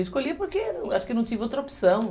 Eu escolhi porque eu acho que não tive outra opção.